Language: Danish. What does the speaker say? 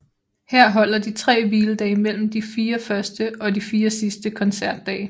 Her holder de tre hviledage mellem de 4 første og de 4 sidste koncertdage